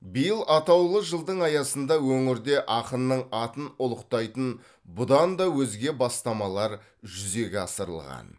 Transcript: биыл атаулы жылдың аясында өңірде ақынның атын ұлықтайтын бұдан да өзге бастамалар жүзеге асырылған